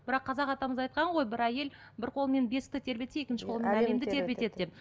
бірақ қазақ атамыз айтқан ғой бір әйел бір қолымен бесікті тербетсе екінші қолымен әлемді тербетеді деп